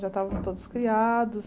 Já estavam todos criados.